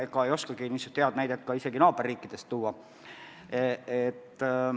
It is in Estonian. Ega ei oskagi samasugust näidet naaberriikidest tuua.